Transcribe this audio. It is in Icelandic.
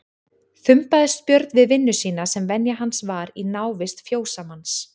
Þumbaðist Björn við vinnu sína sem venja hans var í návist fjósamanns.